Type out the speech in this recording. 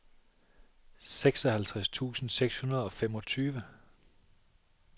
seksoghalvtreds tusind seks hundrede og femogtyve